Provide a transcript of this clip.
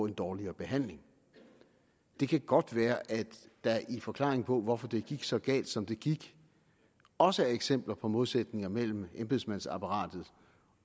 en dårligere behandling det kan godt være at der i forklaringen på hvorfor det gik så galt som det gik også er eksempler på modsætninger mellem embedsmandsapparatet